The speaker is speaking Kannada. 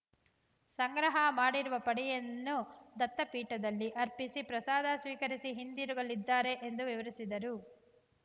ಸಂಗ್ರಹ ಮಾಡಿರುವ ಪಡಿಯನ್ನು ದತ್ತಪೀಠದಲ್ಲಿ ಅರ್ಪಿಸಿ ಪ್ರಸಾದ ಸ್ವೀಕರಿಸಿ ಹಿಂದಿರುಗಲಿದ್ದಾರೆ ಎಂದು ವಿವರಿಸಿದರು